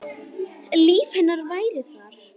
Líf hennar væri þar.